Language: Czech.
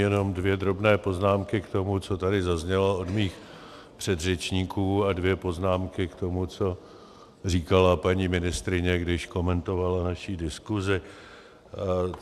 Jenom dvě drobné poznámky k tomu, co tady zaznělo od mých předřečníků, a dvě poznámky k tomu, co říkala paní ministryně, když komentovala naši diskusi.